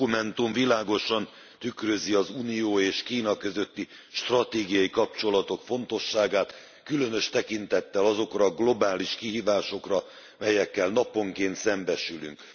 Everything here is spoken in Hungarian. A dokumentum világosan tükrözi az Unió és Kína közötti stratégiai kapcsolatok fontosságát különös tekintettel azokra a globális kihívásokra, melyekkel naponként szembesülünk.